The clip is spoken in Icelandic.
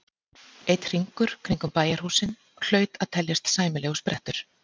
Einn hringur kringum bæjarhúsin hlaut að teljast sæmilegur sprettur.